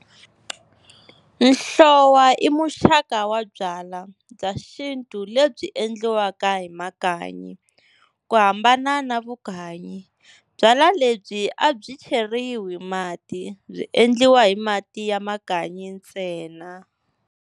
Nhlowa i muxaka wa byala bya xintu lebyi endliwaka hi makanyi. Ku hambana na Vukanyi, byala lebyi a byi cheriwi mati, byi endliwa hi mati ya makanyi ntsena.